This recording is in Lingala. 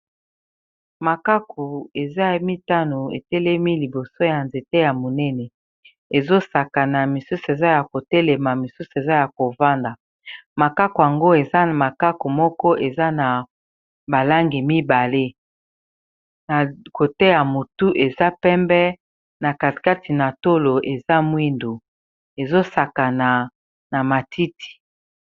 Makaku eza emitano etelemi liboso ya nzete ya monene ezosaka na misusu eza ya kotelema misusu eza ya kovanda makaku yango eza na makaku moko eza na balangi mibale na koteya motu eza pembe na katikati na tolo eza mwindo ezosakana na matiti.